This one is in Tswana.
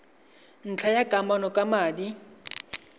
ntlha tsa kamano ka madi